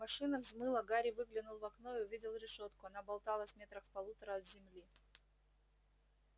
машина взмыла гарри выглянул в окно и увидел решётку она болталась метрах в полутора от земли